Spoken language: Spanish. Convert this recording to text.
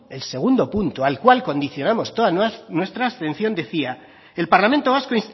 el segundo punto al cual condicionamos toda nuestra atención decía el parlamento vasco